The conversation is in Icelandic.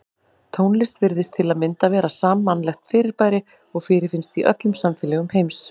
Tónlist virðist til að mynda vera sammannlegt fyrirbæri og fyrirfinnst í öllum samfélögum heims.